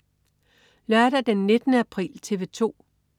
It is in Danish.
Lørdag den 19. april - TV 2: